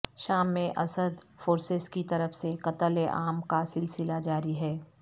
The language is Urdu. شام میں اسد فورسز کی طرف سے قتل عام کا سلسلہ جاری ہے